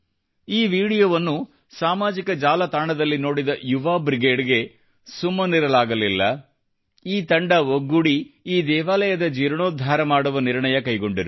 ಈ ವಿಡಿಯೋವನ್ನು ಸಾಮಾಜಿಕ ಜಾಲತಾಣದಲ್ಲಿ ನೋಡಿದ ಯುವಾ ಬ್ರಿಗೇಡ್ ಗೆ ಸುಮ್ಮನಿರಲಾಗಲಿಲ್ಲ ಮತ್ತು ಈ ತಂಡ ಒಗ್ಗೂಡಿ ಈ ದೇವಾಲಯದ ಜೀರ್ಣೋದ್ಧಾರ ಮಾಡುವ ನಿರ್ಣಯ ಕೈಗೊಂಡರು